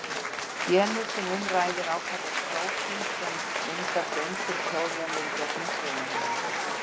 Genið sem um ræðir ákvarðar prótín sem myndar göng fyrir klórjónir í gegnum frumuhimnur.